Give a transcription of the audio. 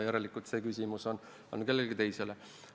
Järelikult on see küsimus suunatud kellelegi teisele.